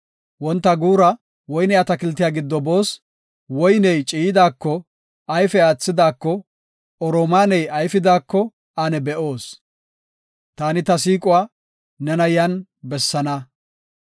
Wonta guura woyne atakiltiya giddo boos; woyney ciiyidaako, ayfe aathidako, oromaaney ayfidaako ane be7oos. Taani ta siiquwa nena yan bessaana.